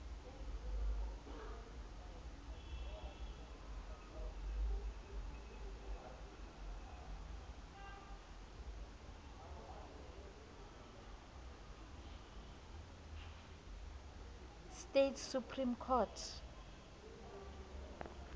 states supreme court